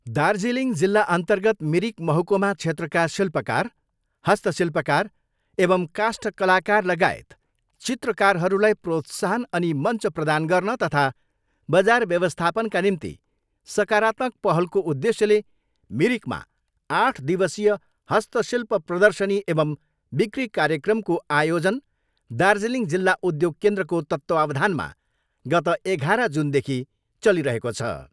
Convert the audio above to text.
दार्जिलिङ जिल्ला अर्न्तगत मिरिक महकुमा क्षेत्रका शिल्पकार, हस्तशिल्पकार एवम् काष्ठकलाकार लगायत चित्रकारहरूलाई प्रोत्साहन अनि मञ्च प्रदान गर्न तथा बजार व्यवस्थापनका निम्ति सकारात्मक पहलको उद्धेश्यले मिरिकमा आठ दिवसीय हस्तशिल्प प्रर्दशनी एवम् बिक्री कार्यक्रमको आयोजन दार्जिलिङ जिल्ला उद्योग केन्द्रको तत्त्वावधानमा गत एघाह्र जुनदेख चलिरहेको छ।